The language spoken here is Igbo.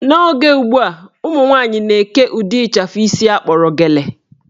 N'oge ugbua, ụmụnwaanyị na-eke ụdị ịchafụ isi akpọrọ gele